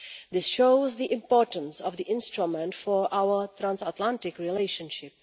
This shows the importance of the instrument for our trans Atlantic relationship.